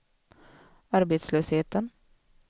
arbetslösheten